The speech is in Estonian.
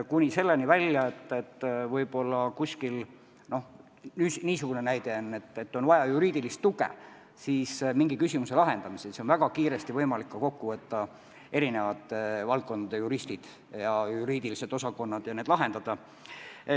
Kuni selleni välja, et võib-olla kuskil on vaja juriidilist tuge mingi küsimuse lahendamisel ja siis on võimalik väga kiiresti kokku võtta eri valdkondade juristid või juriidilised osakonnad ja asi lahendada.